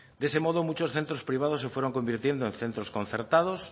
de ese modo muchos centros privados se fueron convirtiendo en centros concertados